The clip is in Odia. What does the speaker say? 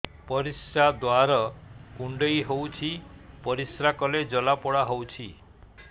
ପରିଶ୍ରା ଦ୍ୱାର କୁଣ୍ଡେଇ ହେଉଚି ପରିଶ୍ରା କଲେ ଜଳାପୋଡା ହେଉଛି